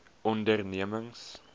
ondernemings